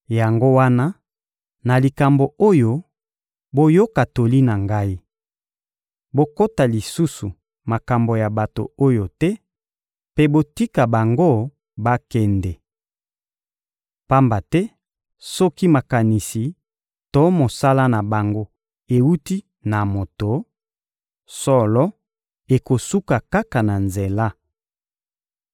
Yango wana, na likambo oyo, boyoka toli na ngai: Bokota lisusu makambo ya bato oyo te mpe botika bango bakende! Pamba te soki makanisi to mosala na bango ewuti na moto, solo, ekosuka kaka na nzela.